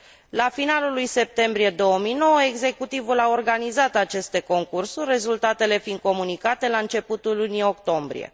La finalul lui septembrie 2009, executivul a organizat aceste concursuri, rezultatele fiind comunicate la începutul lunii octombrie.